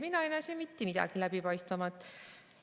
Mina ei näe siin mitte midagi läbipaistvamat.